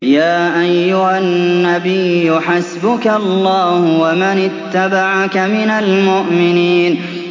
يَا أَيُّهَا النَّبِيُّ حَسْبُكَ اللَّهُ وَمَنِ اتَّبَعَكَ مِنَ الْمُؤْمِنِينَ